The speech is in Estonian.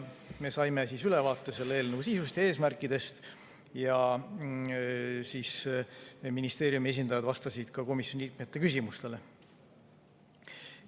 Me saime ülevaate selle eelnõu sisust ja eesmärkidest ja ministeeriumi esindajad vastasid ka komisjoni liikmete küsimustele.